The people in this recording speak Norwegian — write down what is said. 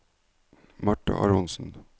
Marta Aronsen